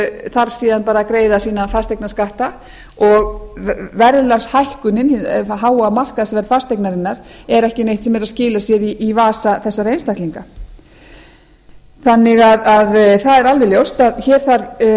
þarf síðan að greiða sína fasteignaskatta og verðlagshækkunin hið háa markaðsverð fasteignarinnar er ekki neitt sem er að skila sér í vasa þessara einstaklinga það er alveg ljóst að hér þarf